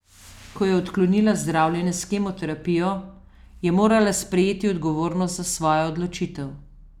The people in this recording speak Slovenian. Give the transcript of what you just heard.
Ko je odklonila zdravljenje s kemoterapijo, je morala sprejeti odgovornost za svojo odločitev.